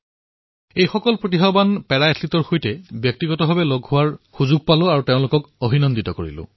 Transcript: এই সকলো প্ৰতিভাৱান পেৰা এথলীটৰ সৈতে মই স্বয়ং লগ কৰাৰ সৌভাগ্য লাভ কৰিলো আৰু তেওঁলোকক অভিনন্দন জ্ঞাপন কৰিলো